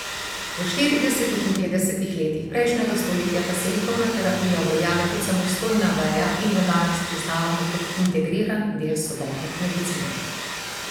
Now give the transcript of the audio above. V štiridesetih in petdesetih letih prejšnjega stoletja pa se likovna terapija uveljavi kot samostojna veja in jo danes priznavamo kot integriran del sodobne medicine.